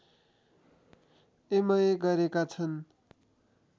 MA गरेका छन्